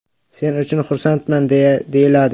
Sen uchun xursandman”, deyiladi.